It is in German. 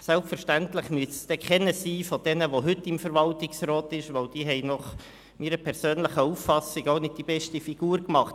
Selbstverständlich sollte es keiner von denen sein, die zum jetzigen Zeitpunkt im Verwaltungsrat sitzen, denn diese haben meiner Auffassung nach auch nicht die beste Figur gemacht.